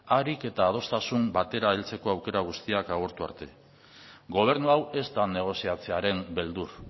ahalik era adostasun batera aukera guztiak agortu arte gobernu hau ez da negoziatzeren beldur